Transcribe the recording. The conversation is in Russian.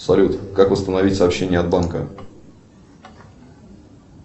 салют как восстановить сообщение от банка